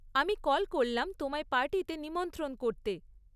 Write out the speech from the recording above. আমি কল করলাম তোমায় পার্টিতে নিমন্ত্রণ করতে।